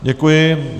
Děkuji.